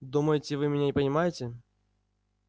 думаете вы меня не понимаете